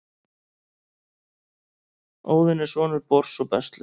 óðinn er sonur bors og bestlu